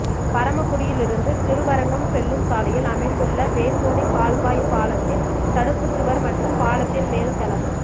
பரமக்குடியிலிருந்து திருவரங்கம் செல்லும் சாலையில் அமைந்துள்ள வேந்தோணி கால்வாய் பாலத்தின் தடுப்புச்சுவா் மற்றும் பாலத்தின் மேல்தளம்